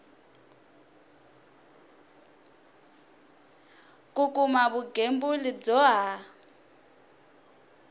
ku kuma vugembuli byo ha